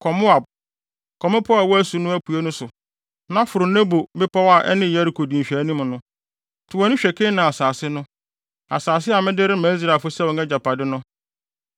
“Kɔ Moab, kɔ mmepɔw a ɛwɔ asu no apuei no so, na foro Nebo bepɔw a ɛne Yeriko di nhwɛanim no. To wʼani hwɛ Kanaan asase no, asase a mede rema Israelfo sɛ wɔn agyapade no.